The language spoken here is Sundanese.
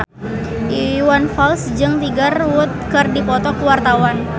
Iwan Fals jeung Tiger Wood keur dipoto ku wartawan